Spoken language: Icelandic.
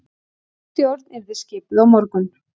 Ný stjórn yrði skipuð á morgun